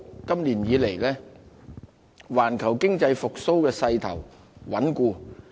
今年以來，環球經濟復蘇勢頭穩固。